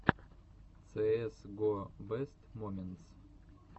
цээс го бест моментс